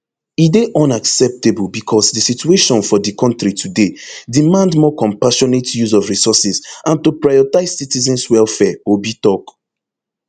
e dey unacceptable bicos di situation for di kontri today demand more compassionate use of resources and to prioritise citizens welfare obi tok